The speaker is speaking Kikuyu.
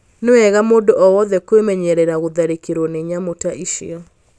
Nĩ wega mũndũ o wothe kwĩmenyerera gũtharĩkĩrũo nĩ nyamũ ta icio.